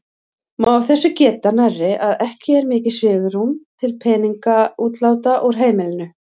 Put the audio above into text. Má af þessu geta nærri að ekki er mikið svigrúm til peningaútláta úr heimilinu.